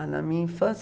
Ah, na minha infância?